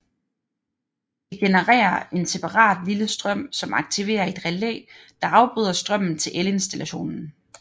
Det genererer en separat lille strøm som aktiverer et relæ der afbryder strømmen til elinstallationen